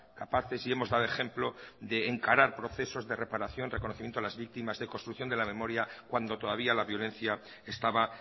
capaces y hemos dado ejemplo de encarar procesos de reparación reconocimiento a las víctimas de construcción de la memoria cuando todavía la violencia estaba